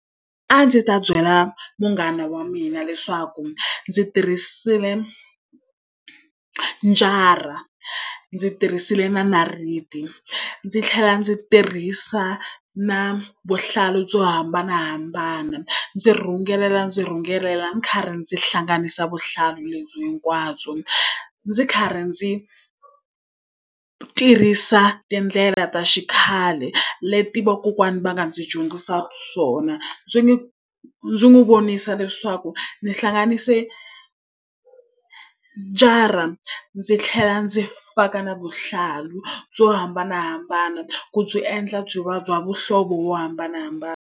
A ndzi ta byela munghana wa mina leswaku ndzi tirhisile njara, ndzi tirhisile na nayiti, ndzi tlhela ndzi tirhisa na vuhlalu byo hambanahambana. Ndzi rhungelela ndzi rhungelela ndzi karhi ndzi hlanganisa vuhlalu lebyi hinkwabyo. Ndzi karhi ndzi tirhisa tindlela ta xikhale, leti vakokwana va nga ndzi dyondzisa swona. Ndzi n'wi kombisa leswaku ndzi hlanganise njara ndzi tlhela ndzi faka na vuhlalu byo hambanahambana, ku byi endla byi va bya muhlovo wo hambanahambana.